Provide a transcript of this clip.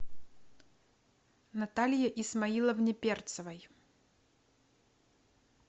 наталье исмаиловне перцевой